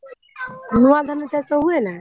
ନୂଆ ଧାନ ଚାଷ ହୁଏନା।